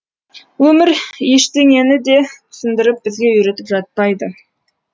өмір ештеңеніде түсіндіріп бізге үйретіп жатпайды